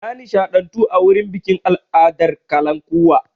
Na nishaɗantu a wurin bikin al'adar kalankuwa.